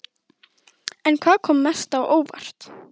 En hvað kom mest á óvart?